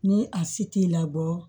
Ni a si t'i labɔ